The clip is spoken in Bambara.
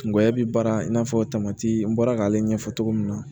Kungɔya bɛ baara in na n bɔra k'ale ɲɛfɔ cogo min na